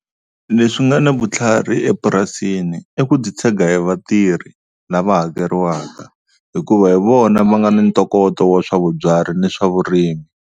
Leswi nga na vutlhari epurasini i ku titshega hi vatirhi lava hakeriwaka hikuva hi vona va nga ni ntokoto wa swa vubyari ni swa vurimi.